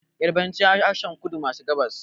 Yarabanci harshen kudu maso gabas